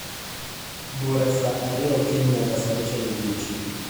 bura saa ariyo okinyi nyaka saa auchiel odieching